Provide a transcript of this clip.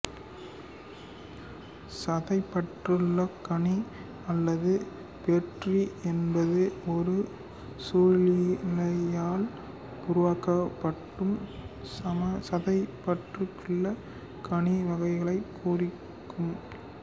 சதைப்பற்றுள்ளக் கனி அல்லது பெர்ரி என்பது ஒரு சூலிழையால் உருவாக்கப்படும் சதைப்பற்றுள்ள கனி வகைகளைக் குறிக்கும்